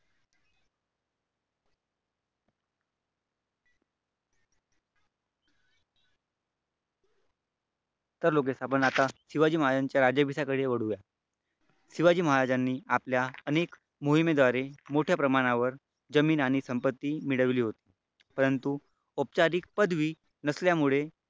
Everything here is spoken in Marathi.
तर लोकेश आपण आता शिवाजी महाराजांच्या राज्याभिषेकाकडे वळूया शिवाजी महाराजांनी आपल्या अनेक मोहिमेद्वारे मोठ्या प्रमाणावर जमीन आणि संपत्ती मिळवली होती. परंतु औपचारिक पदवी नसल्यामुळे